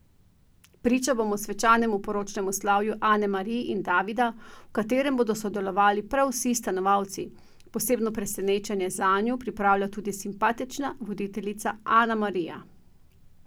Priča bomo svečanemu poročnemu slavju Ane Mari in Davida, v katerem bodo sodelovali prav vsi stanovalci, posebno presenečenje zanju pripravlja tudi simpatična voditeljica Ana Marija!